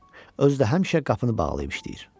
Özü də həmişə qapını bağlayıb işləyir.